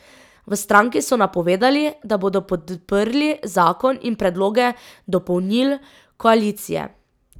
V stranki so napovedali, da bodo podprli zakon in predloge dopolnil koalicije.